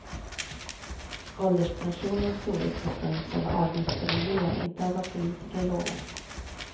Ålderspensionens storlek bestäms av vad avgifterna ger, inte av vad politiker lovat.